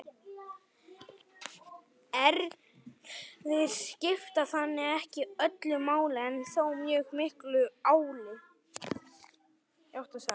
erfðir skipta þannig ekki öllu máli en þó mjög miklu máli